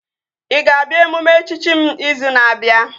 Ị ga-abịa emume echichi m izu na-abịa?